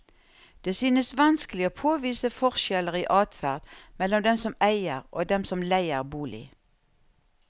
Det synes vanskelig å påvise forskjeller i adferd mellom dem som eier og dem som leier bolig.